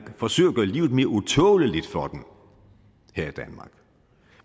forsøger at gøre livet mere utåleligt for dem her i danmark